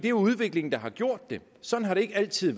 er udviklingen der har gjort det sådan har det ikke altid